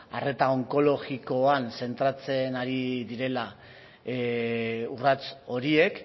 arreta onkologikoan zentratzen ari direla urrats horiek